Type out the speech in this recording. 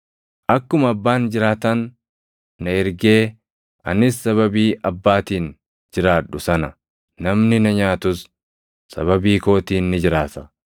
Akkuma Abbaan jiraataan na ergee anis sababii Abbaatiin jiraadhu sana, namni na nyaatus sababii kootiin ni jiraata.